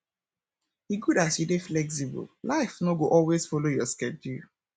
e good as you dey flexible life no go always folo your schedule